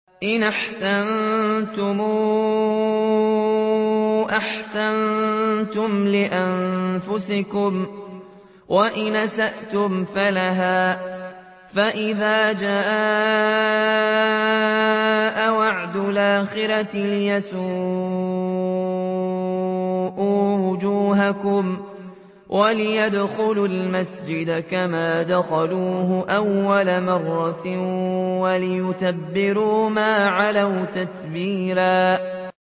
إِنْ أَحْسَنتُمْ أَحْسَنتُمْ لِأَنفُسِكُمْ ۖ وَإِنْ أَسَأْتُمْ فَلَهَا ۚ فَإِذَا جَاءَ وَعْدُ الْآخِرَةِ لِيَسُوءُوا وُجُوهَكُمْ وَلِيَدْخُلُوا الْمَسْجِدَ كَمَا دَخَلُوهُ أَوَّلَ مَرَّةٍ وَلِيُتَبِّرُوا مَا عَلَوْا تَتْبِيرًا